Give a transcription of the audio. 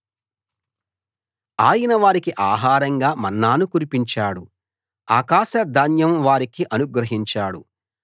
ఆయన వారికి ఆహారంగా మన్నాను కురిపించాడు ఆకాశధాన్యం వారికి అనుగ్రహించాడు